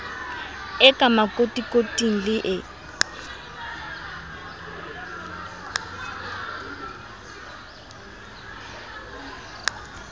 e ka makotikoting le e